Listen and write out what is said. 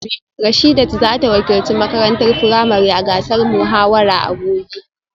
Rashidat za ta wakilci makarantar firamare a gasar muhawara a gobe